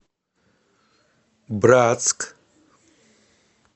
братск